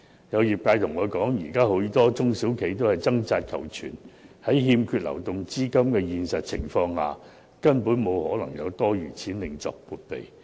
有業界向我反映，現時許多中小企都在掙扎求存，在欠缺流動資金的情況下，根本不可能有多餘資金另作撥備。